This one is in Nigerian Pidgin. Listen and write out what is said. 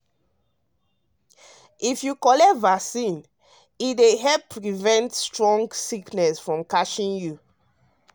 if you collect vaccine e dey help prevent strong sickness from catching you.